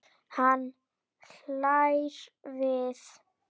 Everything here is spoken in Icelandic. Hann hlær við.